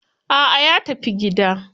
A'a ya tafi gida.